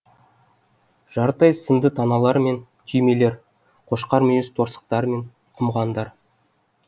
жарты ай сынды таналар мен түймелер қошқар мүйіз торсықтар мен құмғандар